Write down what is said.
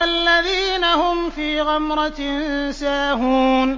الَّذِينَ هُمْ فِي غَمْرَةٍ سَاهُونَ